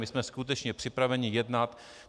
My jsme skutečně připraveni jednat.